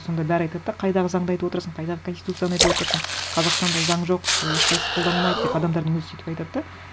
сонда бәрі айтады да қайдағы заңды айтып отырсың қайдағы конституцияны айтып отырсың қазақстанда заң жоқ ы ешқайсы қолданылмайды деп адамдардың өзі сөйтіп айтады да